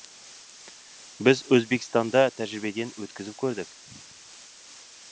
біз өзбекстанда тәжірибеден өткізіп көрдік